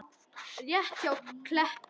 Rétt hjá Kleppi.